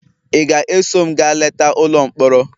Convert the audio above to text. Ị ga-eso m gaa leta ụlọ mkpọrọ?